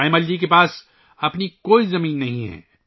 تایمّل جی کے پاس اپنی کوئی زمین نہیں ہے